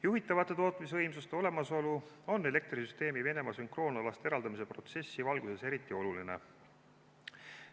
Juhitavate tootmisvõimsuste olemasolu on elektrisüsteemi Venemaa sünkroonalast eraldamise protsessi valguses eriti oluline.